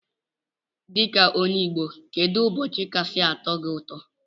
Dika onye igbo kedu ụbọchi kasi atọ gi ụtọ?